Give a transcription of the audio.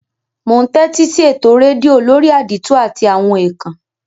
Mo n tẹ́tísí eto redio lórí àdìtú àti àwon ékán